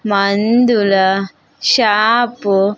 మందుల షాపు .